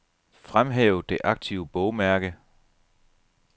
Fremhæv det aktive bogmærke.